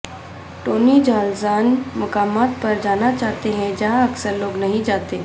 Tony Giles ان مقامات پر جانا چاہتے ہیں جہاں اکثر لوگ نہیں جاتے